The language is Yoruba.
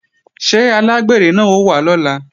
Ṣé alágbèrè náà ó wá lọ́la?